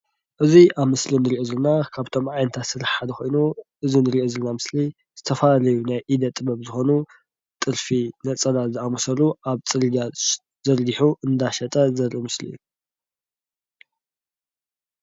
እዚ ኣብ ምስሊ ንርኦ ዘለና ካብቶም ዓይነት ስራሕቲ ሓደ ኮይኑ እዚ ንርኦ ዘለና ምስሊ ዝተፈላለዩ ናይ ኢደ ጥበብ ዝኾኑ ጥልፊ፣ ነፀላ ዝኣምሰሉ ኣብ ፅርጊያ ዘርጊሑ እንዳሸጠ ዘርኢ ምስሊ እዩ።